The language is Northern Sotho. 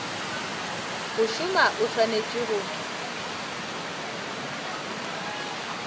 go šoma o swanetše go